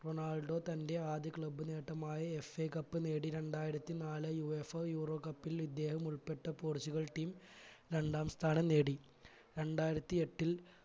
Ronaldo തന്റെ ആദ്യ club നേട്ടമായ FA cup നേടി രണ്ടായിരത്തി നാൾ UEFAeuro cup ൽ ഇദ്ദേഹം ഉൾപ്പെട്ട പോർച്ചുഗൽ team രണ്ടാം സ്ഥാനം നേടി രണ്ടായിരത്തി എട്ടിൽ